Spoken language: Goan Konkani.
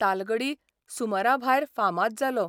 तालगडी सुमराभायर फामाद जालो.